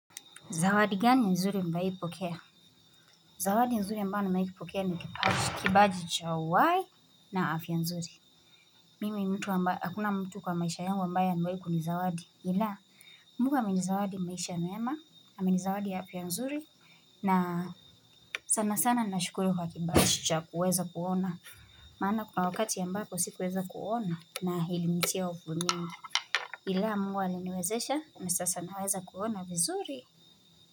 Zawadi gani nzuri umewai pokea Zawadi nzuri ambayo nimewai kipokea ni kibaji cha uwai na afya nzuri Mimi mtu amba akuna mtu kwa maisha yangu ambaye amewai kuni zawadi ila Mungu amenizawadi maisha mema amenizawadi ya afya nzuri na sana sana nashukuru kwa kibaji cha kuweza kuona maana kuna wakati ambapo si kuweza kuona na ilinitia ufo mingi Ila mungu aliniwezesha na sasa naweza kuona vizuri.